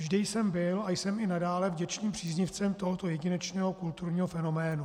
Vždy jsem byl a jsem i nadále vděčným příznivcem tohoto jedinečného kulturního fenoménu.